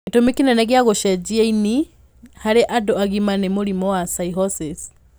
Gĩtũmi kĩnene kĩa gũcenjia ini harĩ andũ agima nĩ mũrimũ wa cirrhosis.